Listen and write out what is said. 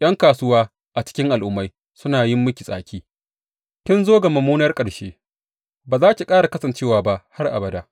’Yan kasuwa a cikin al’ummai suna yin miki tsaki; kin zo ga mummunar ƙarshe ba za ki ƙara kasancewa ba har abada.